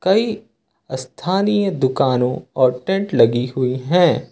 कई स्थानीय दुकानों और टेंट लगी हुई है।